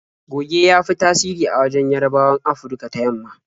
Goge ya fi tasiri a wajen Yarabawan Afurka ta yamma.